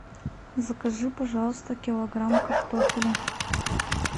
закажи пожалуйста килограмм картофеля